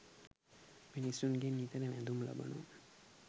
මිනිසුන්ගෙන් නිතර වැඳුම් ලබනවා.